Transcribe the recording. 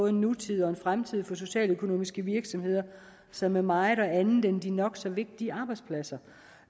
en nutid og fremtid for socialøkonomiske virksomheder som er meget mere og andet end de nok så vigtige arbejdspladser